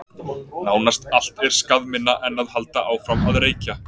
nánast allt er skaðminna en að halda áfram að reykja